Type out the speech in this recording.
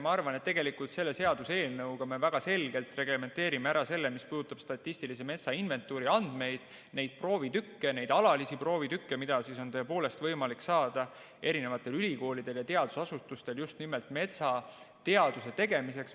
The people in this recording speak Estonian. Ma arvan, et tegelikult selle seaduseelnõuga me väga selgelt reglementeerime ära selle, mis puudutab statistilise metsainventuuri andmeid, neid alalisi proovitükke, mida on tõepoolest võimalik saada erinevatel ülikoolidel ja teadusasutustel just nimelt metsateaduse tegemiseks.